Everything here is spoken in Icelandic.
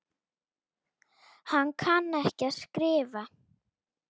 Hann kann ekki að skrifa.